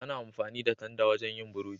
Ana amfani da tanda wajen yin burodi.